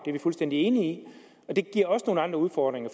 er vi fuldstændig enige i og det giver også nogle andre udfordringer